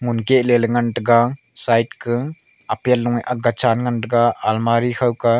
ngunkeh leyla ngantaga side ka apple lung ye agga chan ngantaga almari khaukah.